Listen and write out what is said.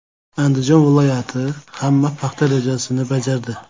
Andijon viloyati ham paxta rejasini bajardi.